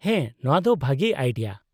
-ᱦᱮᱸ, ᱱᱚᱶᱟ ᱫᱚ ᱵᱷᱟᱹᱜᱤ ᱟᱭᱰᱤᱭᱟ ᱾